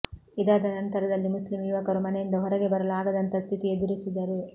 ಇದಾದ ನಂತರದಲ್ಲಿ ಮುಸ್ಲಿಮ್ ಯುವಕರು ಮನೆಯಿಂದ ಹೊರಗೆ ಬರಲು ಆಗದಂತಹ ಸ್ಥಿತಿ ಎದುರಿಸಿದರು